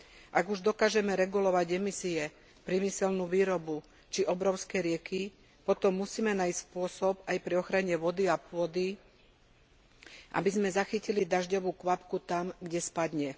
Ak už dokážeme regulovať emisie, priemyselnú výrobu či obrovské rieky, potom musíme nájsť spôsob aj pri ochrane vody a pôdy, aby sme zachytili dažďovú kvapku tam, kde spadne.